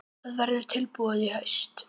Það verður tilbúið í haust.